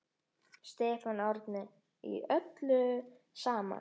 Stefán Árni: Í öllu saman?